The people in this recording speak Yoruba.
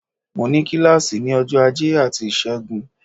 Mo ní kílàsì ní ọjọ́ ajé àti ìṣẹ́gun